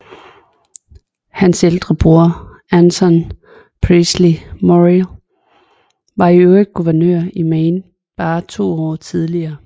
Hans ældre bror Anson Peaslee Morrill var for øvrigt guvernør i Maine bare to år tidligere